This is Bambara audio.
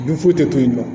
Dun foyi tɛ to yen nɔ